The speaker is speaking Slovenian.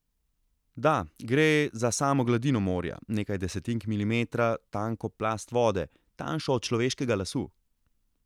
Da, gre za samo gladino morja, nekaj desetink milimetra tanko plast vode, tanjšo od človeškega lasu.